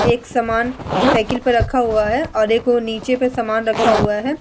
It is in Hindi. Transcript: एक सामान साइकिल पे रखा हुआ है और एक वो नीचे पे सामान रखा हुआ है ।